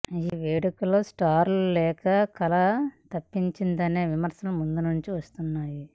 ఈ వేడుకలో స్టార్లు లేక కళ తప్పిందనే విమర్శలు ముందు నుంచీ వస్తున్నాయి